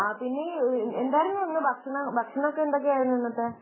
ആഹ് പിന്നെ എന്തായിരുന്നു ഭക്ഷണമൊക്കെ എന്തായിരുന്നു ഇന്നത്തെ